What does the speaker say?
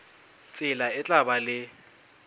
tsela e tla ba le